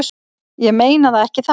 Ég meina það ekki þannig.